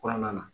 Kɔnɔna na